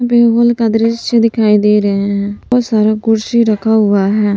बिहुल का दृश्य दिखाई दे रहे हैं और सारा कुर्सी रखा हुआ है।